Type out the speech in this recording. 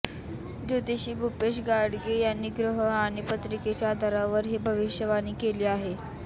ज्योतिषी भूपेश गाडगे यांनी ग्रह आणि पत्रिकेच्या आधारावर ही भविष्यवाणी केली आहे